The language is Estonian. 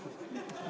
Aitäh!